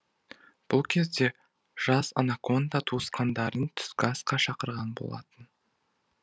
бұл кезде жас анаконда туысқандарын түскі асқа шақырған болатын